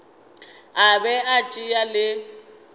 a be a tšea le